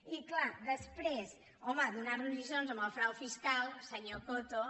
i clar després home donar nos lliçons amb el frau fiscal senyor coto